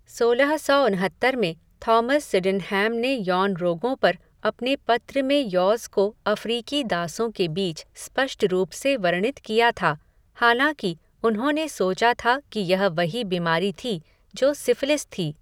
सोलह सौ उनहत्तर में थॉमस सिडेनहैम ने यौन रोगों पर अपने पत्र में यौज़ को अफ़्रीकी दासों के बीच स्पष्ट रूप से वर्णित किया था, हालाँकि उन्होंने सोचा था कि यह वही बीमारी थी जो सिफ़िलिस थी।